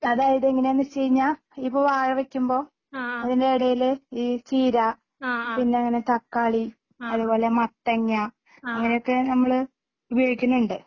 അതായത് എങ്ങനെയാന്ന് വെച്ചുകഴിഞ്ഞാ ഇപ്പൊ വാഴ വെക്കുമ്പോ അതിൻ്റെ ഇടേല് ഈ ചീര പിന്നെ അങ്ങനെ തക്കാളി അതുപോലെ മത്തങ്ങ അങ്ങനെയൊക്കെ നമ്മള് ഉപയോഗിക്കുന്നുണ്ട്